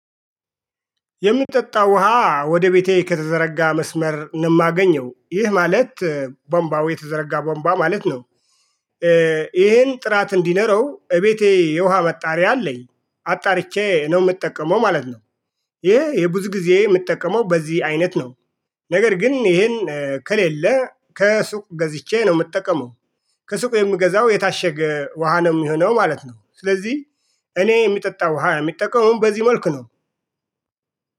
የሚጠጣው ውሃ ወደ ቤቴ ከተዘረጋ መስመር ነው የማገኘው ይህ ማለት ቦምባው የተዘረጋ ቦምባ ማለት ነው። ይሄን ጥራት እንዲኖረው እቤቴ የውሃ መጣሪያ አለኝ አጣርቼ ነው የምጠቀመው ማለት ነው። ይሄ የብዙ ጊዜ የምጠቀመው በዚህ አይነት ነው። ነገር ግን ይሄን ከሌለ ከሱቅ ገዝቼ ነው የምጠቀመው። ከሱቅ የምገዛው የታሸገ ውሃ ነው የሚሆነው ማለት ነው። ስለዚህ እኔ የሚጠጣ ውሃ የሚጠቀመውን በዚህ መልኩ ነው